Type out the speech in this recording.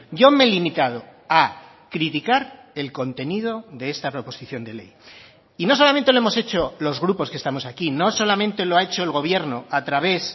yo me he limitado a criticar el contenido de esta proposición de ley y no solamente lo hemos hecho los grupos que estamos aquí no solamente lo ha hecho el gobierno a través